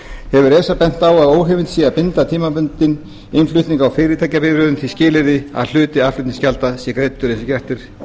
hefur esa bent á að óheimilt sé að binda tímabundinn innflutning á fyrirtækjabifreiðum því skilyrði að hluti aðflutningsgjalda sé greiddur eins og